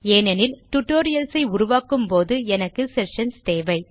ஏனெனில் டியூட்டோரியல்ஸ் ஐ உருவாக்கும் போது எனக்கு செஷன்ஸ் தேவை